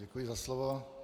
Děkuji za slovo.